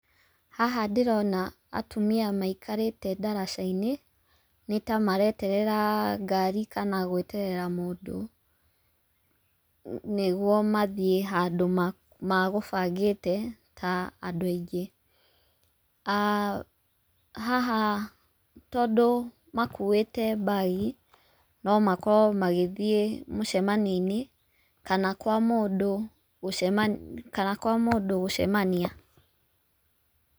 Haha ndĩrona atumia maikarĩte ndaraca-inĩ, nĩtamareterera ngari kana gweterera mũndũ, nĩguo mathiĩ handũ magũbangĩte ta andũ aingĩ, haha tondũ makuĩte mbagi, no makorwo magĩthiĩ mũcemanio-inĩ kana kwa mũndũ gũcema kana kwa mũndũ gũcemania.